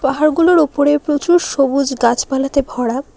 পাহাড়গুলোর ওপরে প্রচুর সবুজ গাছপালাতে ভরা।